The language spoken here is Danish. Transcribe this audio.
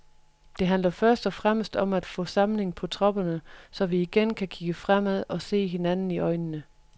Det handler først og fremmest om at få samling på tropperne, så vi igen kan kigge fremad og se hinanden i øjnene.